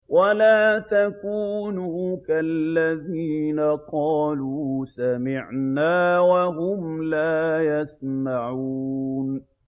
وَلَا تَكُونُوا كَالَّذِينَ قَالُوا سَمِعْنَا وَهُمْ لَا يَسْمَعُونَ